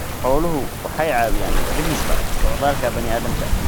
Xooluhu waxay caawiyaan dhimista socdaalka bani'aadamka.